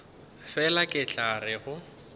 fela ke tla re go